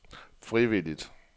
frivilligt